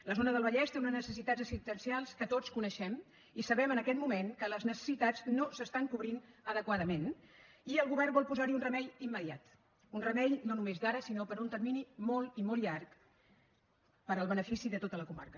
la zona del vallès té unes necessitats assistencials que tots coneixem i sabem en aquest moment que les necessitats no s’estan cobrint adequadament i el govern vol posar hi un remei immediat un remei no només d’ara sinó per un termini molt i molt llarg per al benefici de tota la comarca